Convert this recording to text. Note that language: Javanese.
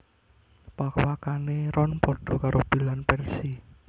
Pawakané Ron padha karo Bill lan Percy